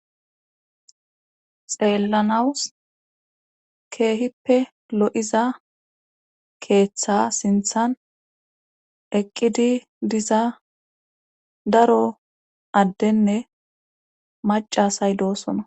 xeellanawus keehippe lo7iza keeththa sinthan eqqidi diza daro addenne macasay doosona